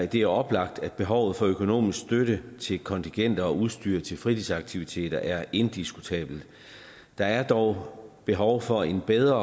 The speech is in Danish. det er oplagt at behovet for økonomisk støtte til kontingenter og udstyr til fritidsaktiviteter er indiskutabelt der er dog behov for en bedre